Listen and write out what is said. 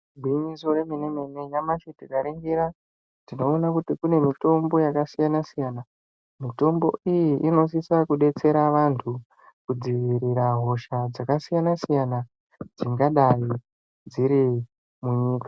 Gwinyiso remene mene, nyamashi tikaringira tinoona kuti kune mitombo yakasiyana siyana. Mitombo iyi inosisa kudetsera vantu kudziirira hosha dzakasiyana siyana dzingadai dziri munyika.